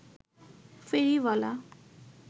ফেরিওয়ালা